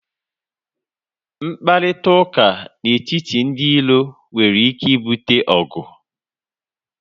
Mkparịta ụka na etiti ndị iro nwere ike ibute ọgụ